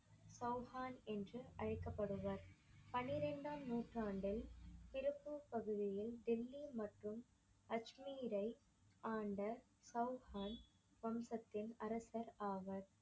சவுகான் என்று அழைக்கபடுவர். பன்னிரெண்டாம் நூற்றண்டில் திருப்பூர் பகுதியில் டெல்லி மற்றும் அஜ்மீர்யை ஆண்ட சவுகான் வம்சத்தின் அரசர் ஆவர்.